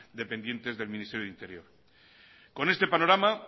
dependientes del ministerio del interior con este panorama